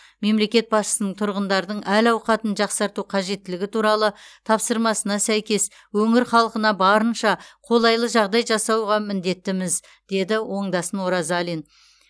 мемлекет басшысының тұрғындардың әл ауқатын жақсарту қажеттілігі туралы тапсырмасына сәйкес өңір халқына барынша қолайлы жағдай жасауға міндетіміз деді оңдасын оразалин